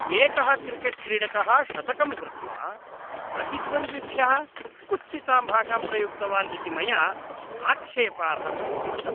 एकः क्रिकेट्क्रीडकः शतकं कृत्वा प्रतिद्वन्द्विभ्यः कुत्सितां भाषां प्रयुक्तवान् इति मया आक्षेपार्हं दृष्टम्।